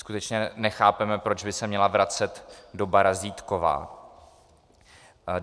Skutečně nechápeme, proč by se měla vracet doba razítková.